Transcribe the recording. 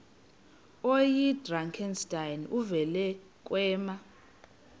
oyidrakenstein uvele kwema